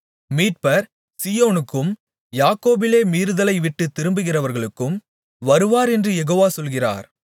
மீட்பர் சீயோனுக்கும் யாக்கோபிலே மீறுதலைவிட்டுத் திரும்புகிறவர்களுக்கும் வருவார் என்று யெகோவா சொல்கிறார்